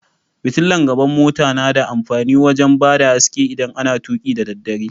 Fitilan gaban mota na da amfani wajen bada haske idan ana tuki dadaddare.